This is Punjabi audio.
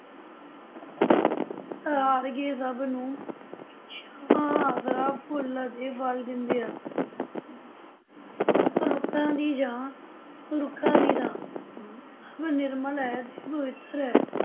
ਸਹਾਰ ਕੇ ਸਭ ਨੂੰ ਛਾਂ, ਆਸਰਾ, ਫੁੱਲ ਤੇ ਫਲ ਦਿੰਦੇ ਹਨ ਰੁੱਖਾਂ ਦੀ ਛਾਂ, ਰੁੱਖਾਂ ਦੀ ਥਾਂ ਸਭ ਨਿਰਮਲ ਹੈ ਤੇ ਪਵਿੱਤਰ ਹੈ।